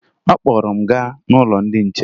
Ọ kpọrọ m gaa n'ụlọ ndị che